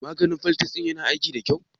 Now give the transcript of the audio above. Maganin fimfles ɗin na aiki da ƙyau?